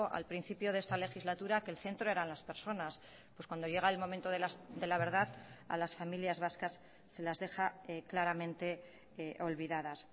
al principio de esta legislatura que el centro eran las personas pues cuando llega el momento de la verdad a las familias vascas se las deja claramente olvidadas